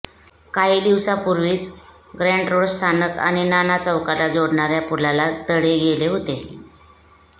काही दिवसांपूर्वीच Grant Road स्थानक आणि नाना चौकाला जोडणार्या पुलाला तडे गेले होते